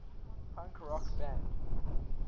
punk rock band